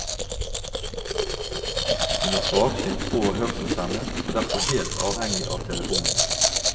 Hun er svaksynt og hørselshemmet og derfor helt avhengig av telefonen.